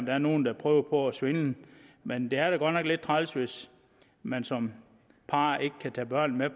er nogen der prøver på at svindle men det er da godt nok lidt træls hvis man som par ikke kan tage børnene